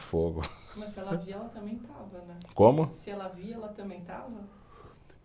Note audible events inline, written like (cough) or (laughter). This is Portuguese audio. Fogo. (laughs) Mas se ela via, ela também estava, né? Como? Se ela via, ela também estava?